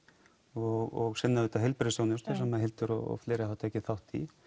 og svo heilbrigðisþjónustu sem Hildur og fleiri hafa tekið þátt í